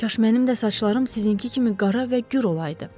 Kaş mənim də saçlarım sizinki kimi qara və gür olaydı.